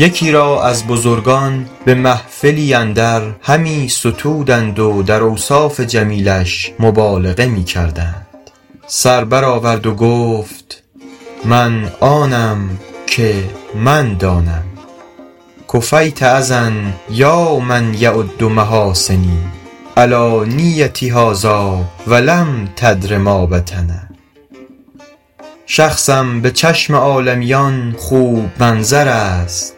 یکی را از بزرگان به محفلی اندر همی ستودند و در اوصاف جمیلش مبالغه می کردند سر بر آورد و گفت من آنم که من دانم کفیت اذی یا من یعد محاسنی علانیتی هذٰاٰ ولم تدر ما بطن شخصم به چشم عالمیان خوب منظر است